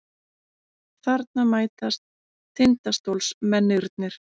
Þarna mætast Tindastólsmennirnir.